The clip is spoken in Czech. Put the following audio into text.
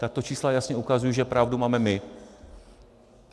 Tato čísla jasně ukazují, že pravdu máme my.